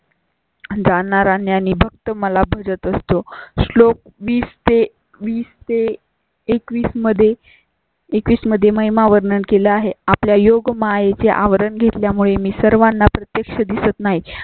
जाणणारा ज्ञानी भक्त मला भजत असतो. श्लोक वीस ते वीस तेएकवीस मध्ये एकवीस मध्ये महिमा वर्णन केलं आहे. आपल्या योग माये चे आवरण घेतल्या मुळे मी सर्वांना प्रत्यक्ष दिसत नाही